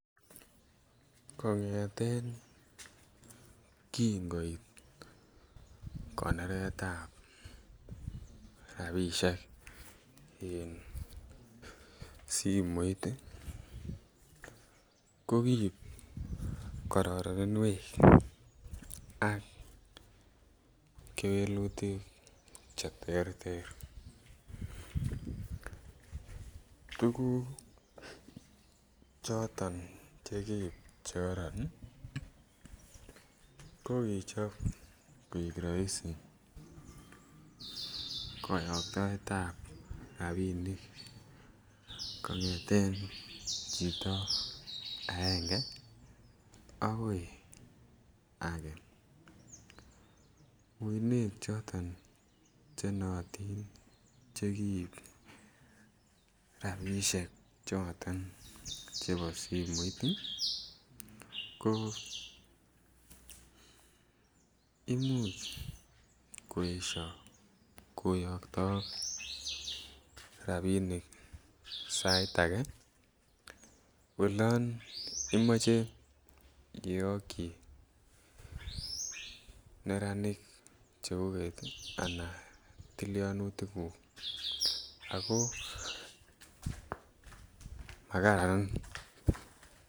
Kongeten kingoit konoretab rabishek en simoit ii ko kiib kororoninwek ak kewelutik che terter, tuguk choton che kiib che koron ii ko kichob koik roisi koyogtoetab rabinik kongeten chito aenge agoi age uinwek choton che nootin che kiib rabishek choton chebo simoit ii ko imuch koesho koyogtook rabinik sait age olon imoche iyogyi neranik cheguget ii anan tilyonutik gung ako makaran